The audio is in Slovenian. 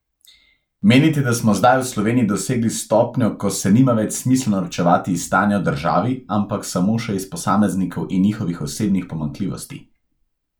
Menite, da smo zdaj v Sloveniji dosegli stopnjo, ko se nima več smisla norčevati iz stanja v državi, ampak samo še iz posameznikov in njihovih osebnih pomanjkljivosti?